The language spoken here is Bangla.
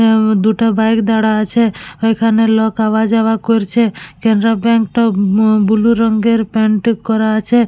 এও দুটো বাইক দারা আছে এখানে লোক আওয়া যাওয়া করছে ক্যানারা ব্যাঙ্ক টাও উম ব্লু রঙের পেইন্ট করা আছে।